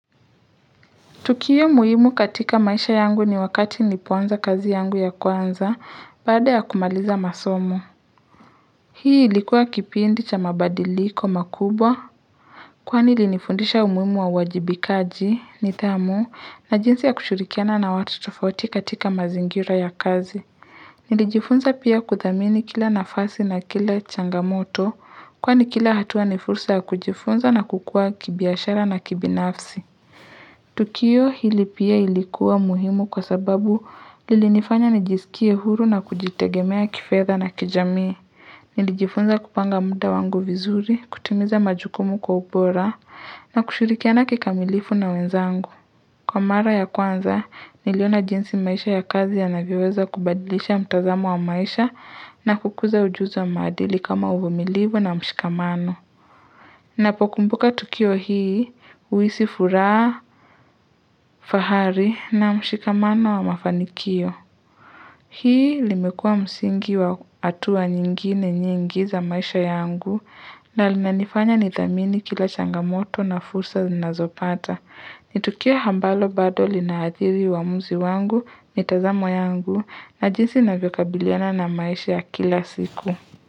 Tukio muhimu katika maisha yangu ni wakati nilipoanza kazi yangu ya kwanza baada ya kumaliza masomo. Hii ilikuwa kipindi cha mabadiliko makubwa. Kwani ilinifundisha umuhimu wa uwajibikaji nidhamu na jinsi ya kushurikiana na watu tofauti katika mazingira ya kazi. Nilijifunza pia kuthamini kila nafasi na kila changamoto kwani kila hatua ni fursa ya kujifunza na kukuwa kibiashara na kibinafsi. Tukio hili pia ilikuwa muhimu kwa sababu lilinifanya nijisikie huru na kujitegemea kifedha na kijamii. Nilijifunza kupanga muda wangu vizuri, kutimiza majukumu kwa ubora, na kushurikiana kikamilifu na wenzangu. Kwa mara ya kwanza, niliona jinsi maisha ya kazi yanavyoweza kubadilisha mtazamo wa maisha na kukuza ujuzi maadili kama uvumilivu na mshikamano. Ninapokumbuka tukio hii, huhisi furaha, fahari na mshikamano wa mafanikio. Hii limekuwa msingi wa hatua nyingine nyingi za maisha yangu na linanifanya nithamini kila changamoto na fursa ninazopata. Ni tukio ambalo bado linaathiri uamuzi wangu, mitazamo yangu na jinsi ninavyo kabiliana na maisha ya kila siku.